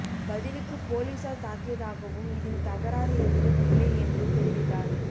பதிலுக்கு போலீசார் தாக்கியதாகவும் இதில் தகராறு எதுவும் இல்லை என்றும் தெரிவித்தார்